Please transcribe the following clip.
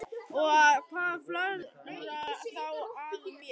Og hvað flögrar þá að mér?